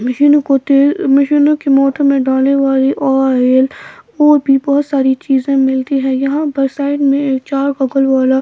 मशीनों को तेल मशीनों के मोटर में डालने वाली ऑयल और भी बहुत सारी चीजें मिलती हैं यहां पर साइड में चार गॉगल वाला--